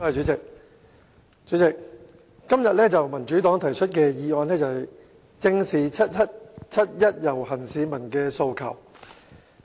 代理主席，今天民主黨提出的議案是"正視七一遊行市民的訴求"。